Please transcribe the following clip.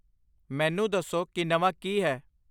ਮੈਨੂੰ ਦੱਸੋ ਕਿ ਨਵਾਂ ਕੀ ਹੈ